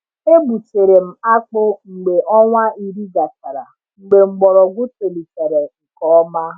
E gbutere m akpụ mgbe ọnwa iri gachara, mgbe mgbọrọgwụ tolitere nke ọma.